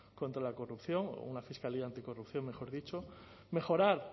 contra la corrupción o una fiscalía anticorrupción mejor dicho mejorar